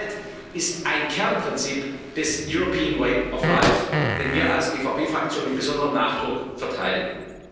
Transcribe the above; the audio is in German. Die Freiheit ist ein Kernprinzip des European Way of Life, den wir als EVP Fraktion mit besonderem Nachdruck verteidigten.